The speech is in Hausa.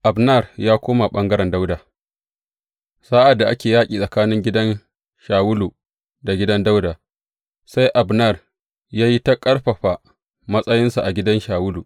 Abner ya koma ɓangaren Dawuda Sa’ad da ake yaƙi tsakanin gidan Shawulu da gidan Dawuda, sai Abner ya yi ta ƙarfafa matsayinsa a gidan Shawulu.